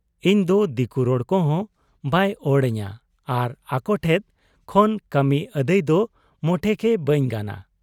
ᱤᱧᱫᱚ ᱫᱤᱠᱩ ᱨᱚᱲ ᱠᱚᱦᱚᱸ ᱵᱟᱭ ᱚᱲ ᱟᱹᱧᱟᱹ ᱟᱨ ᱟᱠᱚᱴᱷᱮᱫ ᱠᱷᱚᱱ ᱠᱟᱹᱢᱤᱠᱚ ᱟᱹᱫᱟᱹᱭ ᱫᱚ ᱢᱚᱴᱮᱜᱮ ᱵᱟᱹᱧ ᱜᱟᱱᱟ ᱾